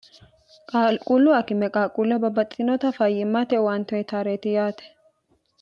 qaaquullu akimme qaaquulla babbaxxiinota fayyimmate uwante uyitaareeti yaate